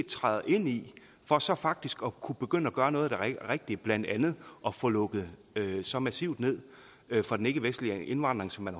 træde ind i for så faktisk at kunne begynde at gøre noget der er rigtigt blandt andet at få lukket så massivt ned for den ikkevestlige indvandring som man